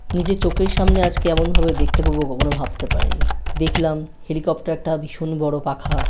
নিজের চোখের সামনে আজকে এমন ভাবে দেখতে পাবো কখনো ভাবতে পারিনি দেখলাম হেলিকপ্টার টা ভীষণ বড়ো পাখা।